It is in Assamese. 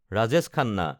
ৰাজেশ খান্না